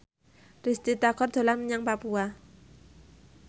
Risty Tagor dolan menyang Papua